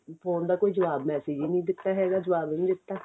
phone ਦਾ ਕੋਈ ਜਵਾਬ message ਹੀ ਨੀ ਦਿੱਤਾ ਹੈਗਾ ਜਵਾਬ ਵੀ ਨੀ ਦਿੱਤਾ